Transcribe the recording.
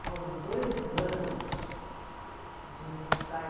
Foram dois anos de ensaio.